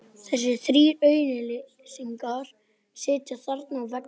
Þannig myndum við standa jafnt að vígi þegar átökin hæfust.